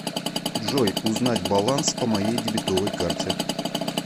джой узнать баланс по моей дебетовой карте